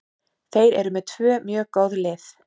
Þeir eru með tvö mjög góð lið.